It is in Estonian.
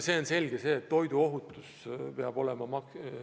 On selge, et toiduohutus peab olema.